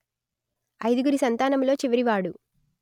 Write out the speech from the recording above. అయిదుగురి సంతానములో చివరి వాడు